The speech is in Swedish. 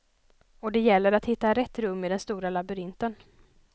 Och det gäller att hitta rätt rum i den stora labyrinten.